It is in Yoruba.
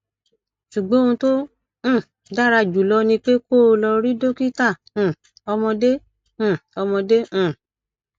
ṣùgbọn ohun tó um dára jùlọ ni pé kó o lọ rí dókítà um ọmọdé um ọmọdé um